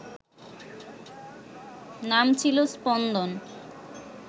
নাম ছিল স্পন্দন